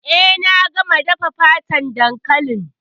Eh, na gama dafa fatan dankalin.